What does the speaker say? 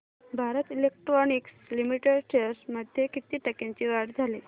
Bharat Electronics Limited shares मध्ये किती टक्क्यांची वाढ झाली